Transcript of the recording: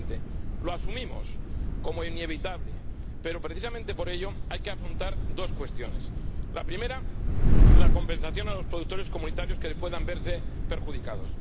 2020. Lo asumimos como inevitable pero, precisamente por ello, hay que afrontar dos cuestiones la primera, la compensación a los productores de la Unión que puedan verse perjudicados